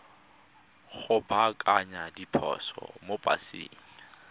go baakanya diphoso mo paseng